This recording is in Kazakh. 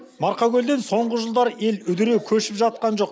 марқакөлден соңғы жылдары ел үдіре көшіп жатқан жоқ